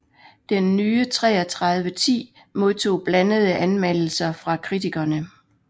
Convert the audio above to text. Den nye 3310 modtog blandede anmeldelser fra kritikkerne